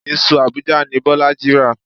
Iṣu Abuja ni Bọ́lájí rà.